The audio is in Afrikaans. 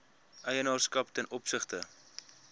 eienaarskap ten opsigte